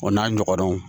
O n'a ɲɔgɔnnaw